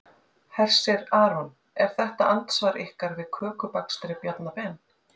Hersir Aron: Er þetta andsvar ykkar við kökubakstri Bjarna Ben?